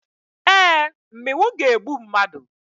Ee, mmịnwụ ga-egbu mmadụ.